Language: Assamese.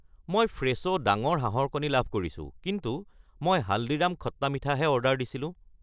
মই ফ্ৰেছো ডাঙৰ হাঁহৰ কণী লাভ কৰিছোঁ, কিন্তু মই হালদিৰাম খট্টা মিঠা হে অৰ্ডাৰ দিছিলোঁ।